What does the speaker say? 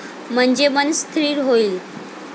म्हणजे मन स्थीर होईल.